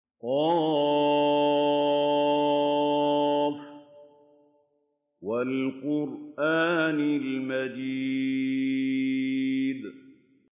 ق ۚ وَالْقُرْآنِ الْمَجِيدِ